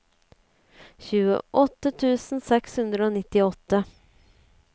tjueåtte tusen seks hundre og nittiåtte